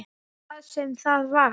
Hvað sem það var.